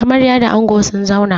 Amaryua da ango sun zauna.